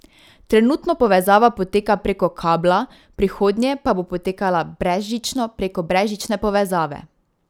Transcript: Trenutno povezava poteka preko kabla, v prihodnje pa bo potekala brezžično, preko brezžične povezave.